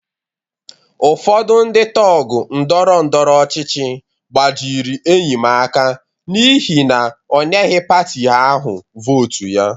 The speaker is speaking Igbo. Ụfọdụ ndị tọgụ ndọrọ ndọrọ ọchịchị gbajịrị enyi m aka n'ihi na o nyeghị pati ahụ vootu ya.